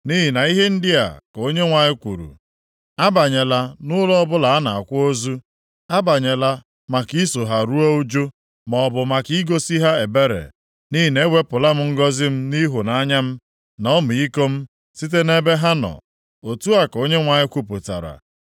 Nʼihi na ihe ndị a ka Onyenwe anyị kwuru, “Abanyela nʼụlọ ọbụla a na-akwa ozu; abanyela maka iso ha ruo ụjụ, + 16:5 Iti ha aka nʼobi maọbụ maka igosi ha ebere, nʼihi na ewepụla m ngọzị m nʼịhụnanya m, na ọmịiko m site nʼebe ha nọ,” otu a ka Onyenwe anyị kwupụtara.